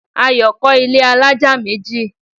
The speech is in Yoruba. Ayo kọ́ ilẹ́ alájà méjì